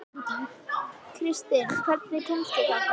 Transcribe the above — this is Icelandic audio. Kristin, hvernig kemst ég þangað?